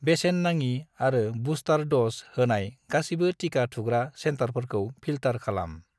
बेसेन नाङि आरो बुस्टार द'ज होनाय गासिबो टिका थुग्रा सेन्टारफोरखौ फिल्टार खालाम।